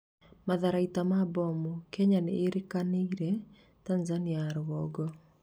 matharaita ma mbomu: Kenya nĩirakanirie Tanzania ya rũgongo